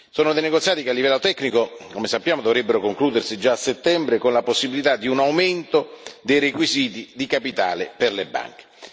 Sono dei negoziati che a livello tecnico, come sappiamo, dovrebbero concludersi già a settembre, con la possibilità di un aumento dei requisiti di capitale per le banche.